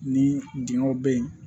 Ni dingɛnw be yen